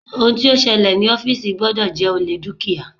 Ohun tó ṣẹlẹ̀ ní ọ́fìsì gbọ́dọ̀ jẹ́ olè dúkìá.